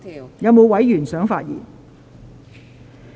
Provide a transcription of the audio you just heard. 是否有委員想發言？